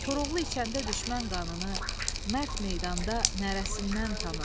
Koroğlu içəndə düşmən qanını, mərd meydanda nərəsindən tanınır.